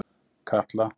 Katla